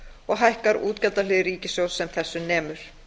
og hækkar útgjaldahlið ríkissjóðs sem þessu nemur